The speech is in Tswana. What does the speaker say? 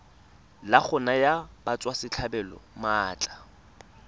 la go naya batswasetlhabelo maatla